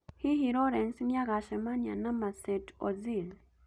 Hihi Lawrence nĩagacemania na Mesut Ozil?